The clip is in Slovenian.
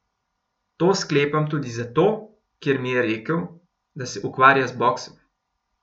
To sklepam tudi zato, ker mi je rekel, da se ukvarja z boksom.